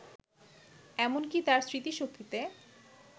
এমন কি তার স্মৃতিশক্তিতে